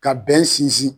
Ka bɛn sinsin